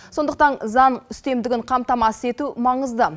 сондықтан заң үстемдігін қамтамасыз ету маңызды